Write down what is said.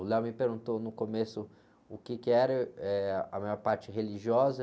O me perguntou no começo o quê que era, eh, a minha parte religiosa.